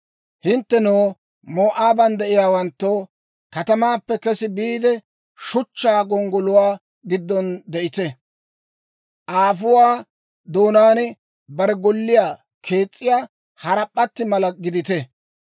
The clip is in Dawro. «Hinttenoo, Moo'aaban de'iyaawanttoo, katamaappe kesi biide, Shuchchaa gonggoluwaa giddon de'ite. Aafuwaa doonaan bare golliyaa kees's'iyaa harap'p'atti mala gidite.